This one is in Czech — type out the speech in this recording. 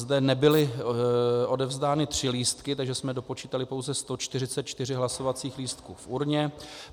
Zde nebyly odevzdány 3 lístky, takže jsme dopočítali pouze 144 hlasovacích lístků v urně.